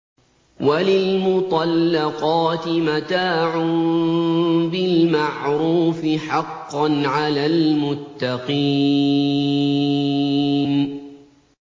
وَلِلْمُطَلَّقَاتِ مَتَاعٌ بِالْمَعْرُوفِ ۖ حَقًّا عَلَى الْمُتَّقِينَ